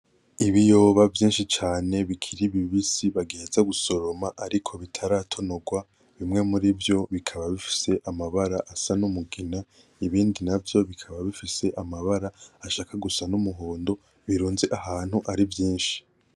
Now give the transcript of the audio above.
Ibiyoba vyinshi cane bikiri bibisi bagiheza gusoroma ariko bitaratonorwa, bimwe muri vyo bikaba bifise amabara asa n'umugina, ibindi navyo bikaba bifise amabara ashaka gusa n'umuhondo birunze ahantu ari vyinshi.